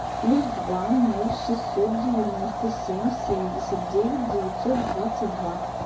плюс два ноль шестьсот девяносто семь семьдесят девять девятьсот двадцать два